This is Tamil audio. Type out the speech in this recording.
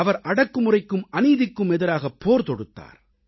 அவர் அடக்குமுறைக்கும் அநீதிக்கும் எதிராகப் போர் தொடுத்தார்